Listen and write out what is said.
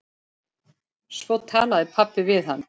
Svo talaði pabbi við hann.